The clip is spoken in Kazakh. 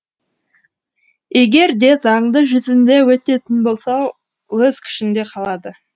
егер де заңды жүзінде өтетін болса өз күшінде қалады